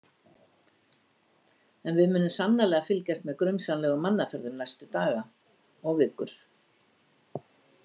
En við munum sannarlega fylgjast með grunsamlegum mannaferðum næstu daga og vikur.